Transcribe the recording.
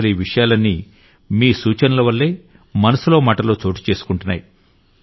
అసలీ విషయాలన్నీ మీ సూచనలవల్లే మనసులో మాటలో చోటు చేసుకుంటున్నాయి